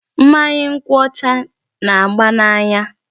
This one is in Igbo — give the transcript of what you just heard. Mmanya nkwụ ọcha na-aba n"anya.